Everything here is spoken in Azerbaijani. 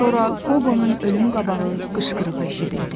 Sonra Qobonun ölüm qabağı qışqırığı eşidildi.